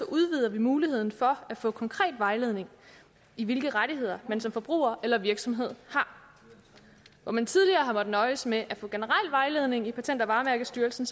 udvider vi muligheden for at få konkret vejledning i hvilke rettigheder man som forbruger eller virksomhed har hvor man tidligere har måttet nøjes med at få generel vejledning i patent og varemærkestyrelsen